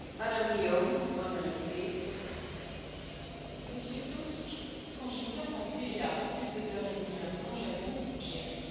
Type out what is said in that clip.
Madame la Présidente, Monsieur Tusk, quand je vous ai entendu il y a un peu plus de deux heures et demi maintenant, j'avoue, j'ai ri.